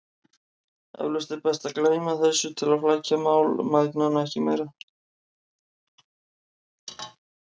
Eflaust er best að gleyma þessu til að flækja mál mæðgnanna ekki meira.